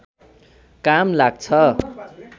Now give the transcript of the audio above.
काम लाग्छ